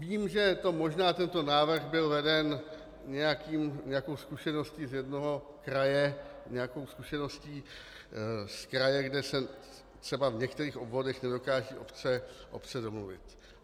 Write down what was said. Vím, že možná tento návrh byl veden nějakou zkušeností z jednoho kraje, nějakou zkušeností z kraje, kde se třeba v některých obvodech nedokážou obce domluvit.